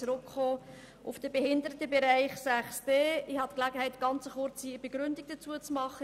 Ich möchte auf den Behindertenbereich 6.d zurückkommen und habe eine kurze Begründung dazu abzugeben.